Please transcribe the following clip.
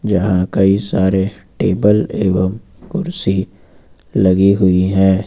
यहां कई सारे टेबल एवं कुर्सी लगी हुई है।